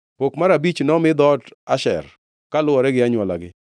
Pok mar abich nomi dhoot Asher kaluwore gi anywolagi.